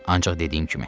Ancaq dediyim kimi.